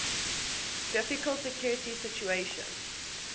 difficult security situation